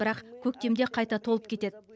бірақ көктемде қайта толып кетеді